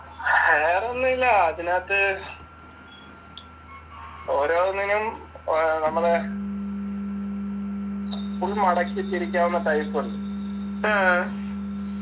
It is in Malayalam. വേറൊന്നു ഇല്ല അതിനാത്ത് ഓരോന്നിനും ഏർ നമ്മളെ full മടക്കി വെച്ചിരിക്കാവുന്ന type ഉണ്ട്